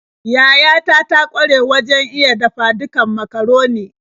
Yayata ta ƙware wajen iya dafa-dukan macaroni.